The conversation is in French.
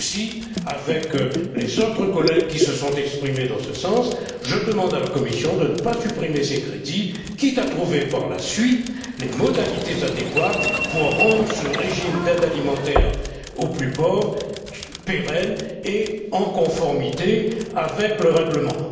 Aussi, avec les autres collègues qui se sont exprimés dans ce sens, je demande à la Commission de ne pas supprimer ces crédits, quitte à trouver, par la suite, les modalités adéquates pour rendre ce régime d'aide alimentaire aux plus pauvres pérenne et conforme au règlement.